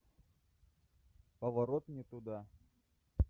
поворот не туда